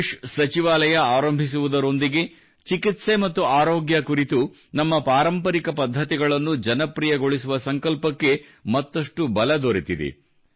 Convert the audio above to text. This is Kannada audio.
ಆಯುಷ್ ಸಚಿವಾಲಯ ಆರಂಭಿಸುವುದರೊಂದಿಗೆ ಚಿಕಿತ್ಸೆ ಮತ್ತು ಆರೋಗ್ಯ ಕುರಿತು ನಮ್ಮ ಪಾರಂಪರಿಕ ಪದ್ಧತಿಗಳನ್ನು ಜನಪ್ರಿಯಗೊಳಿಸುವ ಸಂಕಲ್ಪಕ್ಕೆ ಮತ್ತಷ್ಟು ಬಲ ದೊರೆತಿದೆ